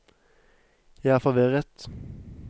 jeg er forvirret